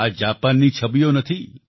આ જાપાનની છબીઓ નથી